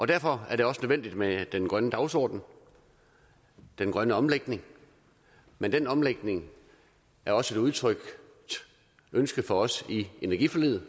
derfor er det også nødvendigt med den grønne dagsorden den grønne omlægning men den omlægning er også et udtrykt ønske for os i energiforliget